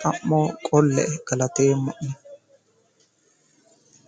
xamo qolle galateemmo'ne.